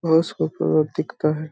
बहुस खूब-सूरत दिखता है ।